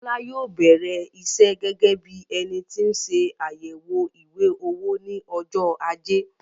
Bọ́lá yóò bẹrẹ iṣẹ gẹgẹ bíi énití nse àyẹwò ìwé-owó ní ọjọ ajé